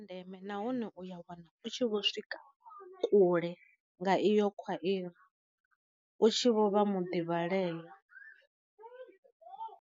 Ndeme nahone uya wana u tshi vho swika kule nga iyo khwairi u tshi vho vha mu ḓivhaleya.